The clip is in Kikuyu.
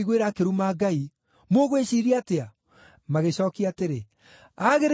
Mũgwĩciiria atĩa?” Magĩcookia atĩrĩ, “Aagĩrĩirwo nĩ kũũragwo.”